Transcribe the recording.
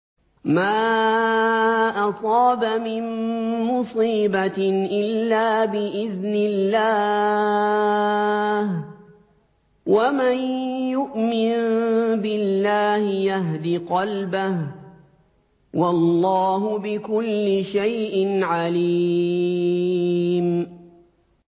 مَا أَصَابَ مِن مُّصِيبَةٍ إِلَّا بِإِذْنِ اللَّهِ ۗ وَمَن يُؤْمِن بِاللَّهِ يَهْدِ قَلْبَهُ ۚ وَاللَّهُ بِكُلِّ شَيْءٍ عَلِيمٌ